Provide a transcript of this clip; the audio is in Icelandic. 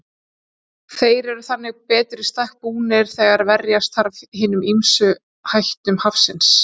Þeir eru þannig betur í stakk búnir þegar verjast þarf hinum ýmsu hættum hafsins.